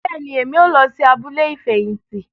Bẹẹni, Èmí o lọ sí abúlé ifẹhinti